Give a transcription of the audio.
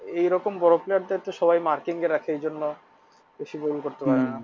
এরকম বড় player দেরকে সবাই marking এ রাখে এইজন্য বেশি goal করতে পারেনা।